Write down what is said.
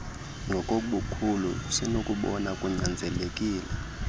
ngokobukhulu usenokubona kunyanzelekile